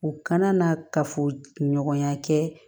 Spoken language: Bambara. U kana na kafoɲɔgɔnya kɛ